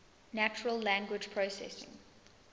natural language processing